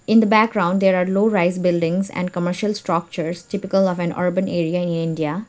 in the background there are low rise buildings and commercial structures typical of an urban area in india.